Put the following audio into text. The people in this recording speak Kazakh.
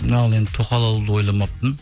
енді тоқал алуды ойламаппын